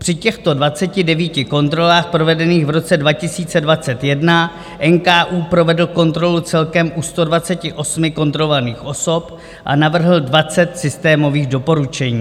Při těchto 29 kontrolách provedených v roce 2021 NKÚ provedl kontrolu celkem u 128 kontrolovaných osob a navrhl 20 systémových doporučení.